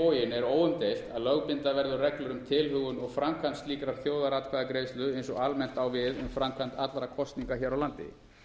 á hinn bóginn er óumdeilt að lögbinda verður reglur um tilhögun og framkvæmd slíkrar þjóðaratkvæðagreiðslu eins og almennt á við um framkvæmd allra kosninga hér á landi